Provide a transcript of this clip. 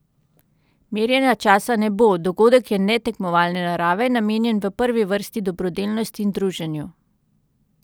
Merjenja časa ne bo, dogodek je netekmovalne narave, namenjen v prvi vrsti dobrodelnosti in druženju.